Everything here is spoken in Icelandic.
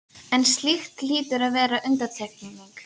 en slíkt hlýtur að vera undantekning.